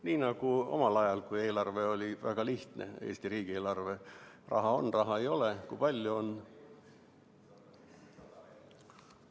Nii nagu omal ajal, kui Eesti riigi eelarve oli väga lihtne: raha on, raha ei ole, kui palju on.